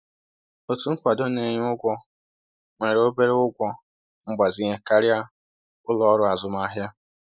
Otu nkwado na-enye ụgwọ nwere obere ụgwọ mgbazinye karịa ụlọ ọrụ azụmahịa.